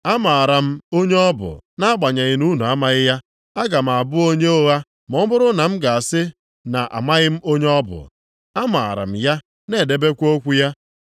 Amaara m onye ọ bụ nʼagbanyeghị na unu amaghị ya. Aga m abụ onye ụgha ma ọ bụrụ na m ga-asị na-amaghị m onye ọ bụ. Amaara m ya na-edebekwa okwu ya.